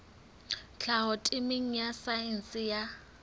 tlhaho temeng ya saense ya